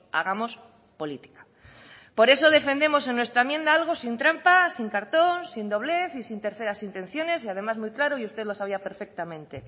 hagamos política por eso defendemos en nuestra enmienda algo sin trampa sin cartón sin doblez y sin terceras intenciones y además muy claro y usted lo sabía perfectamente